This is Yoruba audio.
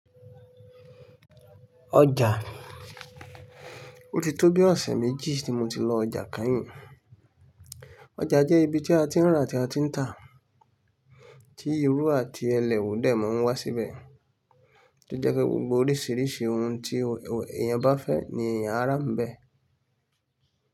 Ọjà, ó ti tó bí ọ̀sẹ̀ méjì tí mo ti lọ ọjà kányìn. Ọjà jẹ́ ibi tí a ti ń ra àti a ti ń tà, tí irú àti ẹlẹ̀wọ̀n dẹ́mọ̀ ń wá síbẹ̀, tó jẹ́ pé gbogbo oríṣiríṣi ohun tí èèyàn bá fẹ́ ni èèyàn á rà níbẹ̀.